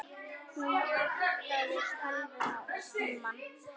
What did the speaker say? Hún vaktaði tölvuna og símann.